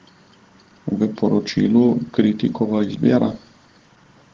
V poročilu Kritikova izbira?